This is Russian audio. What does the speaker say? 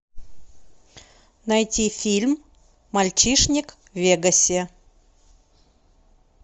найти фильм мальчишник в вегасе